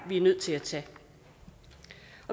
vi er nødt til at tage